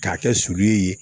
K'a kɛ sulu ye